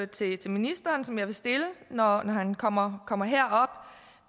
til ministeren som jeg vil stille når han kommer kommer herop